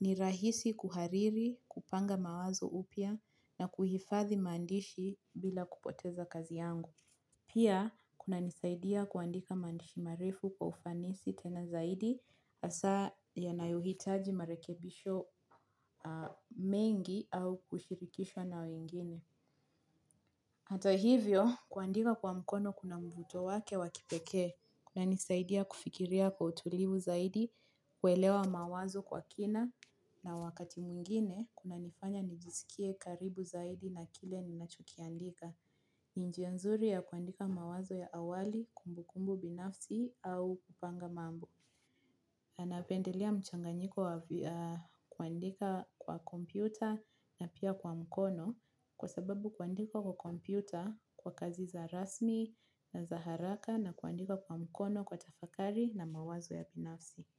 Ni rahisi kuhariri, kupanga mawazo upya na kuhifathi maandishi bila kupoteza kazi yangu. Pia, kuna nisaidia kuandika mandishi marefu kwa ufanisi tena zaidi, hasaa yanayuhitaji marekebisho mengi au kushirikishwa na wengine. Hato hivyo, kuandika kwa mkono kuna mvuto wake wakipekee. Kuna nisaidia kufikiria kwa utulivu zaidi, kuelewa mawazo kwa kina, na wakati mwingine, kunanifanya nijisikie karibu zaidi na kile ninachokiandika. Njia nzuri ya kuandika mawazo ya awali, kumbu kumbu binafsi au kupanga mambo. Napendelea mchanganyiko kuandika kwa kompyuta na pia kwa mkono kwa sababu kuandika kwa kompyuta kwa kazi za rasmi na za haraka na kuandika kwa mkono kwa tafakari na mawazo ya binafsi.